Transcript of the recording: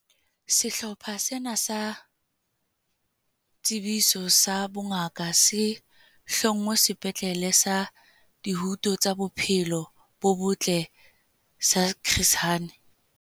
Sehlopha sena sa Tshebetso sa Bongaka se hlongwe Sepetlele sa Dihuto tsa Bophelo bo Botle sa Chris Hani